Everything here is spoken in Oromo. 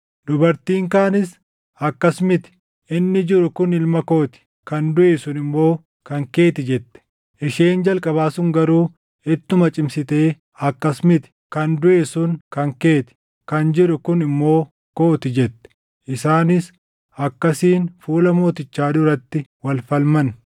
Dubartiin kaanis, “Akkas miti! Inni jiru kun ilma koo ti; kan duʼe sun immoo kan kee ti” jette. Isheen jalqabaa sun garuu ittuma cimsitee, “Akkas miti! Kan duʼe sun kan kee ti; kan jiru kun immoo koo ti” jette. Isaanis akkasiin fuula mootichaa duratti wal falman.